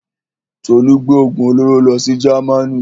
Tolú gbé òògùn olóró lọ sí Jamaní.